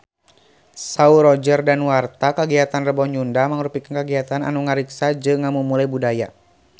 Saur Roger Danuarta kagiatan Rebo Nyunda mangrupikeun kagiatan anu ngariksa jeung ngamumule budaya Sunda